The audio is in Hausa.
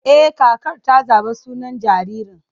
E, kakar ta zaɓi sunan jaririn.